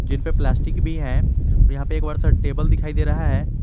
इन पे प्लास्टिक भी है और यहां पे एक बड़ा सा टेबल दिखाई दे रहा है।